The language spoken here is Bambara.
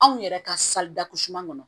Anw yɛrɛ ka kɔnɔ